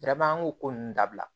an k'o ko nunnu dabila